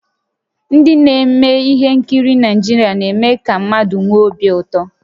Ndị na-eme ihe nkiri Naịjirịa na-eme ka mmadụ nwee obi ụtọ